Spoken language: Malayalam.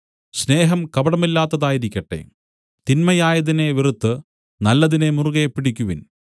സ്നേഹം കപടമില്ലാത്തതായിരിക്കട്ടെ തിന്മയായതിനെ വെറുത്തു നല്ലതിനെ മുറുകെപ്പിടിക്കുവിൻ